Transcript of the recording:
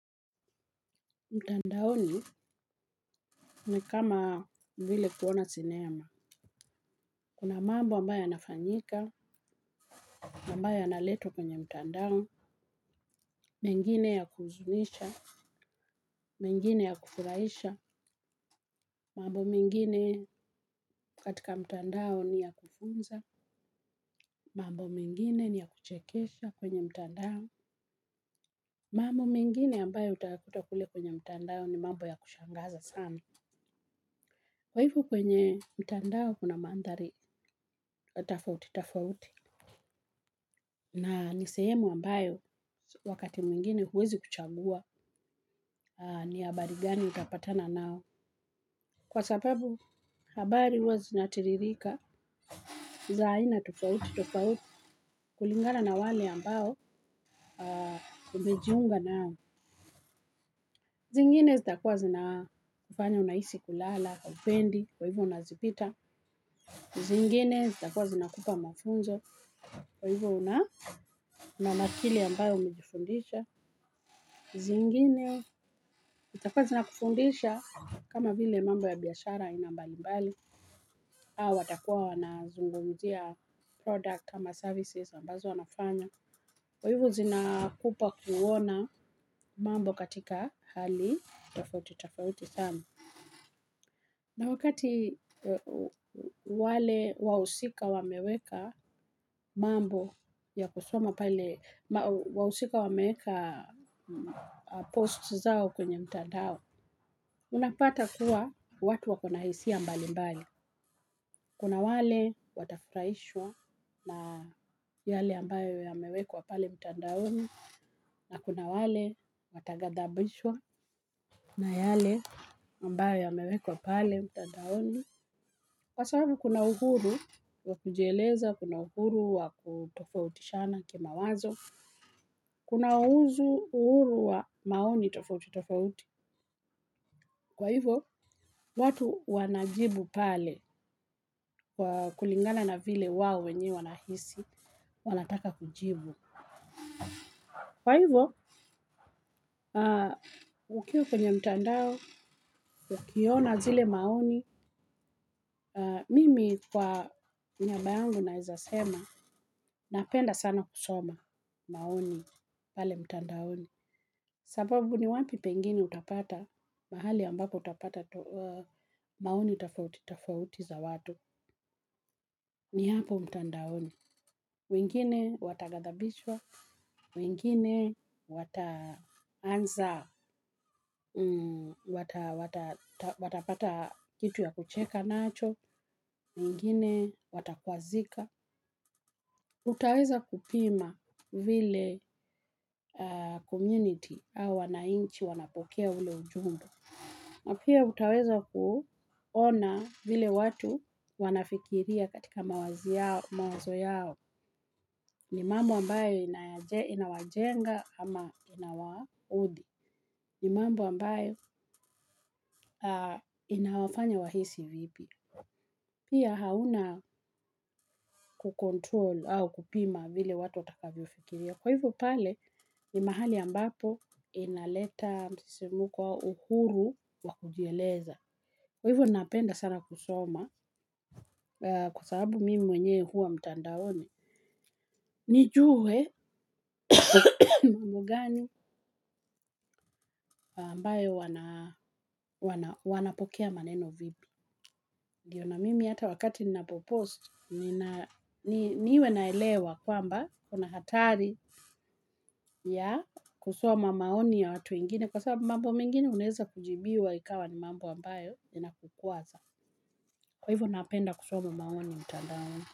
Mtandaoni ni kama vile kuona sinema. Kuna mambo ambayo yanafanyika, ambayo yanaletwa kwenye mtandao, mengine ya kuhuzunisha, mingine ya kufurahisha, mambo mingine katika mtandao ni ya kufunza, mambo mingine ni ya kuchekesha kwenye mtandao, mambo mingine ambayo utakuta kule kwenye mtandao ni mambo ya kushangaza sana. Kwa hivyo kwenye mtandao kuna mandhari, tofauti, tofauti. Na ni sehemu ambayo wakati mwingine huwezi kuchambua ni habari gani utapatana nayo. Kwa sababu habari huwa zinatiririka. Za aina tofauti tofauti kulingana na wale ambao umejiunga nao. Zingine zitakuwa zina kufanya unahisi kulala haupendi kwa hivyo unazipita. Zingine zitakuwa zinakupa mafunzo kwa hivyo unamakini ambayo umejifundisha. Zingine, zitakuwa zina kufundisha kama vile mambo ya biashara aina mbali mbali. Au watakuwa wanazungumzia product ama services ambazo wanafanya. Kwa hivyo zina kupa kuona mambo katika hali, tofauti tofauti sana. Na wakati wale wahusika wameweka mambo ya kusoma pale wahusika wameweka posts zao kwenye mtandao. Unapata kuwa watu wakona hisia mbali mbali. Kuna wale watafurahishwa na yale ambayo ya mewekwa pale mtandaoni na kuna wale watagadhabishwa na yale ambayo yamewekwa pale mtandaoni. Kwa sababu kuna uhuru wa kujeleza, kuna uhuru wa kutofautishana kima wazo, kuna uzu uhuru wa maoni tofauti tofauti. Kwa hivyo, watu wanajibu pale kulingana na vile wao wenye wanahisi, wanataka kujibu. Kwa hivyo, ukiwa kwenye mtandao, ukiona zile maoni, mimi kwa niaba yangu naweza sema, napenda sana kusoma maoni pale mtandaoni. Sababu ni wapi pengini utapata, mahali ambako utapata maoni tofauti tofauti za watu, ni hapo mtandaoni. Wengine watagadhabishwa, wengine watapata kitu ya kucheka nacho, wengine watakwazika. Utaweza kupima vile community au wanainchi wanapokea ule ujumbe. Na pia utaweza kuona vile watu wanafikiria katika mawazi yao, mawazo yao, ni mambo ambayo inawajenga ama inawaudhi, ni mambo ambayo inawafanya wahisi vipi. Pia hauna kucontrol au kupima vile watu watakavyofikiria. Kwa hivyo pale ni mahali ambapo inaleta msisimko wa uhuru wa kujieleza. Kwa hivyo napenda sana kusoma kwa sababu mimi mwenye huwa mtandaoni. Nijue mambo gani ambayo wanapokea maneno vipi. Ndiyo na mimi hata wakati ninapopost, niwe naelewa kwamba kuna hatari ya kusoma maoni ya watu wengine. Kwa sababu mambo mingine uneza kujibiwa ikawa ni mambo ambayo yana kukuwaza. Kwa hivyo napenda kusoma maoni mtadaoni.